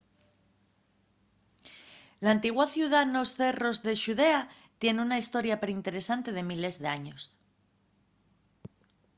l'antigua ciudá nos cerros de xudea tien una hestoria perinteresante de miles d'años